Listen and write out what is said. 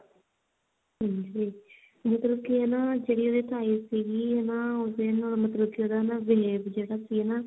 ਹਾਂਜੀ ਉਹ ਮਤਲਬ ਕੀ ਨਾ ਜਿਹੜੀ ਉਹਦੀ ਤਾਈ ਸੀਗੀ ਹਨਾ ਉਸ ਦੇ ਨਾ ਜਿਹੜਾ ਉਹਦਾ behave ਜਿਹੜਾ ਸੀ ਨਾ